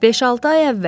Beş-altı ay əvvəl.